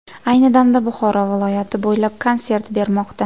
Ayni damda Buxoro viloyati bo‘ylab konsert bermoqda.